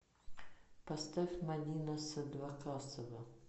поставь мадина садвакасова